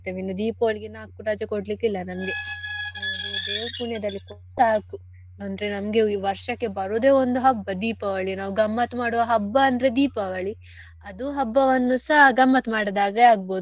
ಇನ್ನೂ Deepavali ಗೆ ನಾಕು ರಜೆ ಕೊಡ್ಲಿಕ್ಕೆ ಇಲ್ಲ ನಂಗೆ ಒಂದು ದೇವ್ರು ಪುಣ್ಯದಲ್ಲಿ ಸಾಕು ಅಂದ್ರೆ ನಮ್ಗೆ ವರ್ಷಕ್ಕೆ ಬರುದೇ ಒಂದು ಹಬ್ಬ Deepavali ನಾವ್ ಗಮ್ಮತ್ ಮಾಡುವ ಹಬ್ಬ ಅಂದ್ರೆ Deepavali ಅದು ಹಬ್ಬವನ್ನು ಸಾ ಗಮ್ಮತ್ ಮಾಡದೆ ಹಾಗೆ ಆಗ್ಬಹುದು.